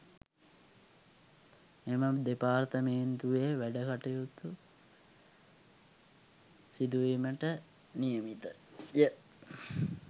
මෙම දෙපාර්තමේන්තුවේ වැඩකටයුතු සිදුවීමට නියමිතය